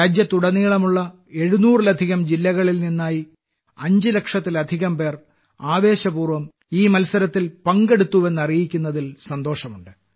രാജ്യത്തുടനീളമുള്ള 700ലധികം ജില്ലകളിൽ നിന്നായി 5 ലക്ഷത്തിലധികംപേർ ആവേശപൂർവ്വം ഈ മത്സരത്തിൽ പങ്കെടുത്തുവെന്ന് അറിയിക്കുന്നതിൽ സന്തോഷമുണ്ട്